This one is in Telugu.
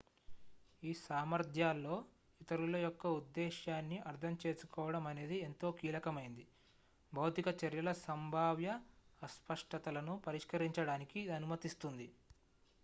ఈ సామర్థ్యాల్లో ఇతరుల యొక్క ఉద్దేశ్యాన్ని అర్థం చేసుకోవడం అనేది ఎంతో కీలకమైనది భౌతిక చర్యల సంభావ్య అస్పష్టతలను పరిష్కరించడానికి ఇది అనుమతిస్తుంది